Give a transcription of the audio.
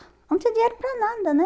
Eu não tinha dinheiro para nada, né?